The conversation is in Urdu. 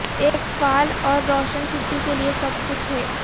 ایک فعال اور روشن چھٹی کے لئے سب کچھ ہے